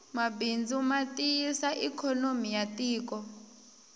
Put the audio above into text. mabindzu matiyisa ikonomi yatiko